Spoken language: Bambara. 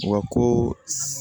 Wa ko s